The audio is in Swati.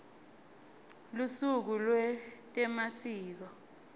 lusuku lwetemasiko